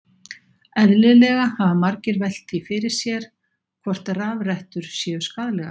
Eðlilega hafa margir velt því fyrir sér hvort rafrettur séu skaðlegar.